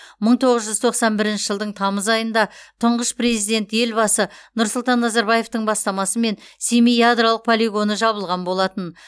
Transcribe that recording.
мың тоғыз жүз тоқсан бірінші жылдың тамыз айында тұңғыш президент елбасы нұрсұлтан назарбаевтың бастамасымен семей ядролық полигоны жабылған болатын